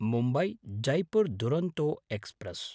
मुम्बय्–जैपुर् Duronto express